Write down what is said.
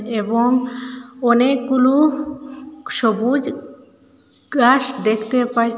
এবং অনেকগুলু সবুজ গ্রাস দেখতে পাই।